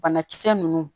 Banakisɛ ninnu